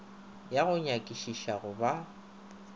ya go nyakišiša go ba